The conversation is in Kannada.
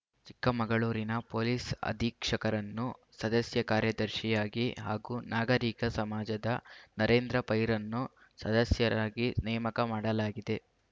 ಚಿಕ್ಕಮಗಳೂರಿನ ಪೊಲೀಸ್‌ ಅಧೀಕ್ಷಕರನ್ನು ಸದಸ್ಯ ಕಾರ್ಯದರ್ಶಿಯಾಗಿ ಹಾಗೂ ನಾಗರೀಕ ಸಮಾಜದ ನರೇಂದ್ರ ಪೈರನ್ನು ಸದಸ್ಯರಾಗಿ ನೇಮಕ ಮಾಡಲಾಗಿದೆ